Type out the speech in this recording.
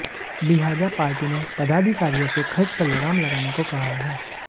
लिहाजा पार्टी ने पदाधिकारियों से खर्च पर लगाम लगाने को कहा है